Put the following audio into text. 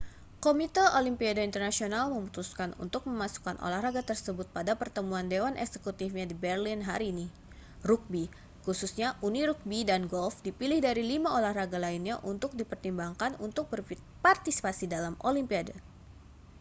komite olimpiade internasional memutuskan untuk memasukkan olahraga tersebut pada pertemuan dewan eksekutifnya di berlin hari ini rugbi khususnya uni rugbi dan golf dipilih dari lima olahraga lainnya untuk dipertimbangkan untuk berpartisipasi dalam olimpiade